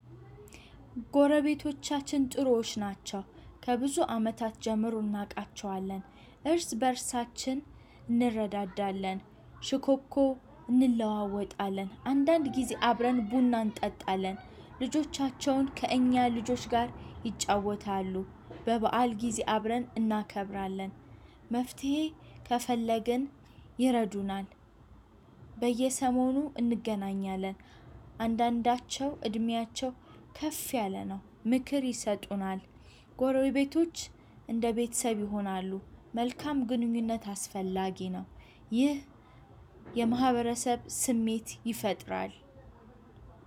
ጎረቤቶቻችን ጥሩዎች ናቸው ከብዙ አመታት ጀምሮ እናቃቸዋለን። እርስ በእርሳችን እንረዳዳለን፣ ሽኮኮ እንለዋወጣለን አንዳንድ ጊዜ አብረን ቡና እንጠጣለ። ልጆቻቸውን ከእኛ ልጆች ጋር ይጫወታሉ። በበዓል ጊዜ አብረን እናከብራለን። መፍትሄ ከፈለግን ይረዱናል። በየሰሞኑ እንገናኛለን። አንዳንዳቸው እድሜያቸው ከፍ ያለ ነው። ምክር ይሰጡናል። ጎረቤቶች አንደ ቤተሰብ ይሆናሉ። መልካም ግንኙነት አስፈላጊ ነው። ይህ የማህበረሰብ ስሜት ይፈጥራል።